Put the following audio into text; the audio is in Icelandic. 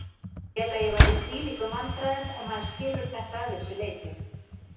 Félagið var í þvílíkum vandræðum og maður skilur þetta að vissu leyti.